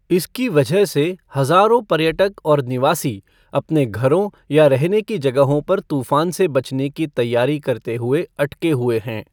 इसकी वजह से हज़ारों पर्यटक और निवासी अपने घरों या रहने की जगहों पर तूफ़ान से बचने की तैयारी करते हुए अटके हुए हैं।